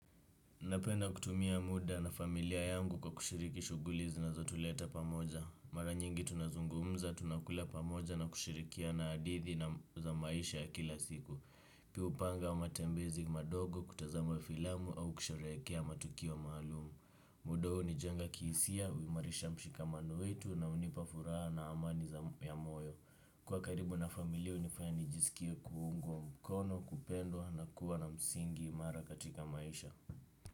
Napenda kutumia muda na familia yangu kwa kushiriki shughuli zinazotuleta pamoja. Mara nyingi tunazungumza tunakula pamoja na kushirikia na hadithi za maisha ya kila siku. Pia hupanga matembezi madogo kutazama filamu au kusherekea matukio maalumu. Muda huo hunijenga kihisia, huimarisha mshikamano wetu na hunipa furaha na amani za moyo. Kwa karibu na familia hunifanya nijisikie kuungwa mkono, kupendwa na kuwa na msingi imara katika maisha.